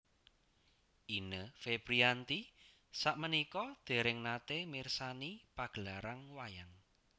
Ine Febriyanti sakmenika dereng nate mirsani pagelaran wayang